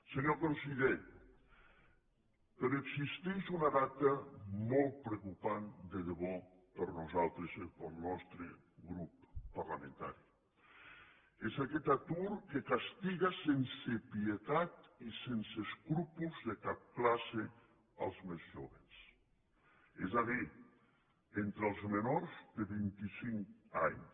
senyor conseller però existeix una dada molt preocupant de debò per nosaltres pel nostre grup parlamentari és aquest atur que castiga sense pietat i sense escrúpols de cap classe els més jóvens és a dir entre els menors de vint i cinc anys